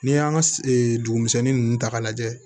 N'i y'an ka dugu misɛnnin ninnu ta k'a lajɛ